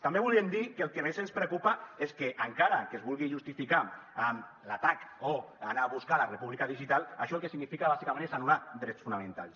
també volíem dir que el que més ens preocupa és que encara que es vulgui justificar amb l’atac o anar a buscar la república digital això el que significa bàsicament és anul·lar drets fonamentals